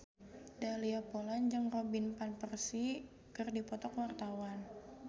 Dahlia Poland jeung Robin Van Persie keur dipoto ku wartawan